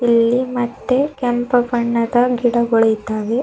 ಇಲ್ಲಿ ಮತ್ತೆ ಕೆಂಪು ಬಣ್ಣದ ಗಿಡಗಳಿದ್ದಾವೆ.